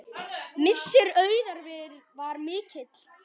Missir Auðar var mikill.